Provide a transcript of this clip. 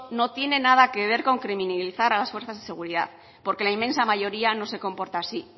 no tiene que ver con criminalizar a las fuerzas de seguridad porque la inmensa mayoría no se comporta así